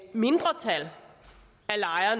mindretal